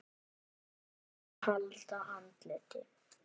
AÐ HALDA ANDLITI